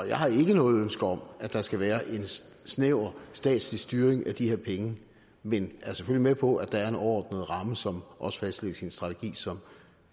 jeg har ikke noget ønske om at der skal være en snæver statslig styring af de her penge men er selvfølgelig med på at der er en overordnet ramme som også fastlægges i en strategi som